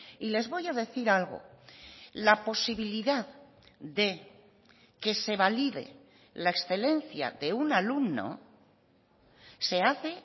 y les voy a decir algo la posibilidad de que se valide la excelencia de un alumno se hace